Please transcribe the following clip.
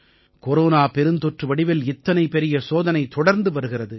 corona பெருந்தொற்று வடிவில் இத்தனை பெரிய சோதனை தொடர்ந்து வருகிறது